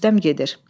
Rüstəm gedir.